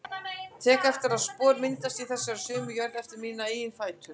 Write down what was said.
Tek eftir að spor myndast í þessari sömu jörð eftir mína eigin fætur.